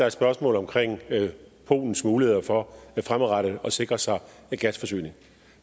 et spørgsmål omkring polens muligheder for fremadrettet at sikre sig gasforsyning